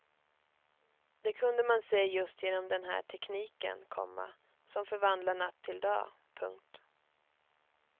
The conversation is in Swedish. Det kunde man se just genom den här tekniken, komma som förvandlar natt till dag. punkt